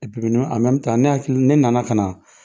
ne hakili ne nana ka na